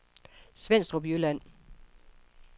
Svenstrup Jylland